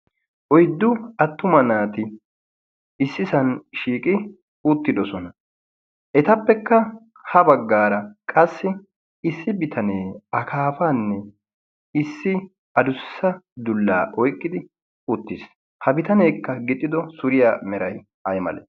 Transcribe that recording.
oiddu attuma naati issi san shiiqi uttidosona. etappekka ha baggaara qassi issi bitanee akaafaanne issi adussa dullaa oiqqidi uttiis. ha bitaneekka gixxido suriyaa merai ai male?